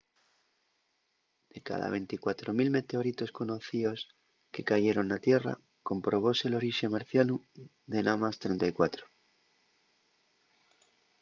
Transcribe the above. de cada 24.000 meteoritos conocíos que cayeron na tierra comprobóse l’orixe marcianu de namás 34